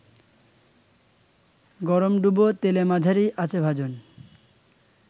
গরমডুবো তেলেমাঝারি আঁচেভাজুন